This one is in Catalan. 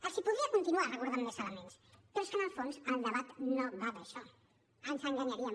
els podria continuar recordant més elements però és que en el fons el debat no va d’això ens enganyaríem